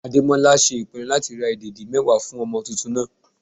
Ademola ṣe ìpinnu láti ra ìdẹ̀dí mẹ́wàá fún ọmọ tuntun náà.